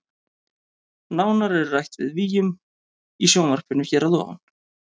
Nánar er rætt við Willum í sjónvarpinu hér að ofan.